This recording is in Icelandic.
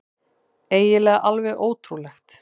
Eiginlega alveg ótrúlegt.